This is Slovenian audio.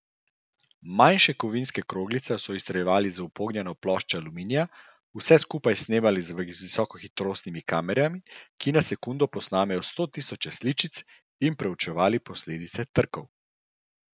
Manjše kovinske kroglice so izstreljevali v upognjeno ploščo aluminija, vse skupaj snemali z visokohitrostnimi kamerami, ki na sekundo posnamejo stotisoče sličic, in preučevali posledice trkov.